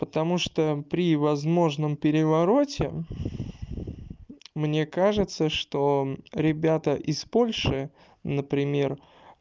потому что при возможном перевороте мне кажется что ребята из польши например